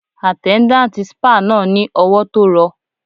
Àtẹ́ndátì spáà náà ni ọwọ tó rọ.